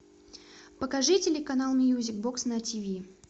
покажи телеканал мьюзик бокс на тв